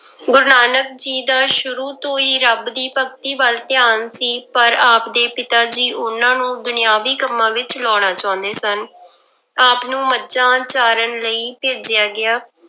ਗੁਰੂ ਨਾਨਕ ਜੀ ਦਾ ਸ਼ੁਰੂ ਤੋਂ ਹੀ ਰੱਬ ਦੀ ਭਗਤੀ ਵੱਲ ਧਿਆਾਨ ਸੀ ਪਰ ਆਪਦੇ ਪਿਤਾ ਜੀ ਉਹਨਾਂ ਨੂੰ ਦੁਨੀਆਵੀ ਕੰਮਾਂ ਵਿੱਚ ਲਾਉਣਾ ਚਾਹੁੰਦੇ ਸਨ ਆਪ ਨੂੰ ਮੱਝਾਂ ਚਾਰਨ ਲਈ ਭੇਜਿਆ ਗਿਆ।